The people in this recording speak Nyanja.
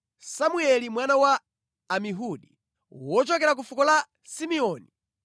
Semueli mwana wa Amihudi, wochokera ku fuko la Simeoni;